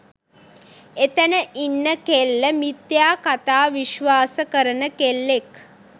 එතන ඉන්න කෙල්ල මිථ්‍යා කථා විශ්වාස කරන කෙල්ලෙක්